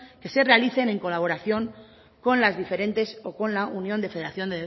que se realicen en colaboración con las diferentes o con la unión de federación